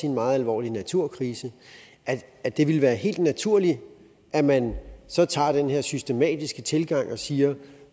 en meget alvorlig naturkrise at det vil være helt naturligt at man så tager den her systematiske tilgang og siger